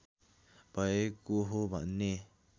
भएको हो भन्ने